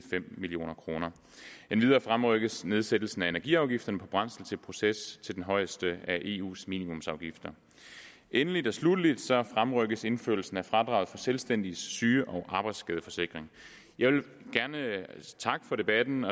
fem million kroner endvidere fremrykkes nedsættelsen af energiafgifterne på brændsel til proces til den højeste af eus minimumsafgifter endelig og sluttelig fremrykkes indførelsen af fradraget for selvstændiges syge og arbejdsskadeforsikring jeg vil gerne takke for debatten